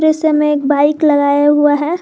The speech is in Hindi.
दृश्य में एक बाइक लगाया हुआ है।